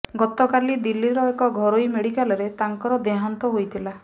ଗତକାଲି ଦିଲ୍ଲୀର ଏକ ଘରୋଇ ମେଡିକାଲରେ ତାଙ୍କର ଦେହାନ୍ତ ହୋଇଥିଲା